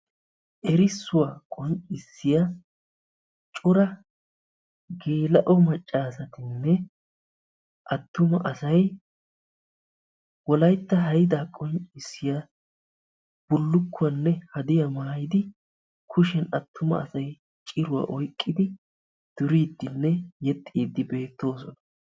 Erissuwa qonccissiya cora geela'o maccaasatinne attuma asay wolaytta haydaa qonccissiya bullukkuwanne hadiya maayidi, kushiyan attuma asay ciruwa oyqqidi duriiddinne yexxiiddi beettoosona.